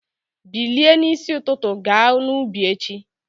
Bilie n'isi ụtụtụ ga n'ubi echi!